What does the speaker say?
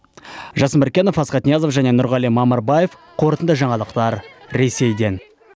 жасын міркенов асхат ниязов нұрғали мамырбаев қорытынды жаңалықтар ресейден